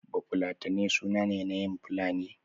Bafulatanai suna yin fulatanci